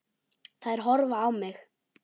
Þær horfa á mig.